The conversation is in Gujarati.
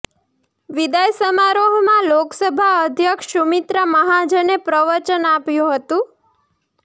વિદાય સમારોહમાં લોકસભા અધ્યક્ષ સુમિત્રા મહાજને પ્રવચન આપ્યું હતું